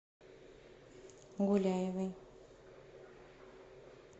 гуляевой